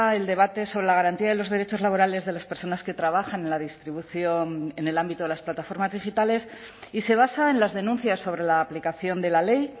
el debate sobre la garantía de los derechos laborales de las personas que trabajan en la distribución en el ámbito de las plataformas digitales y se basa en las denuncias sobre la aplicación de la ley